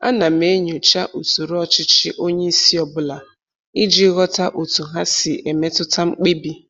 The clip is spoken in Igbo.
Ana m enyocha usoro ọchịchị onye isi ọbụla iji ghọta otu ha si emetụta mkpebi